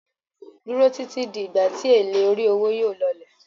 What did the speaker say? Duro titi di igba ti ele ori owo yóò lọlẹ̀